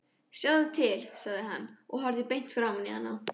Sjáðu til, sagði hann og horfði beint framan í hana.